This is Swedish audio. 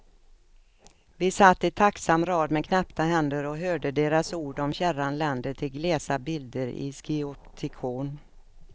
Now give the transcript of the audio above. Vi satt i tacksam rad med knäppta händer och hörde deras ord om fjärran länder till glesa bilder i skioptikon.